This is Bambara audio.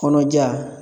Kɔnɔja